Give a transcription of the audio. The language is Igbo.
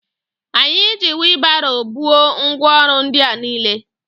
Anyi ji wịlbaro buo ngwa orụ ndi a niile